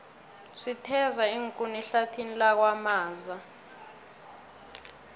sitheza iinkuni ehlathini lakwamaza